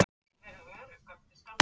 Gaman að sjá ykkur.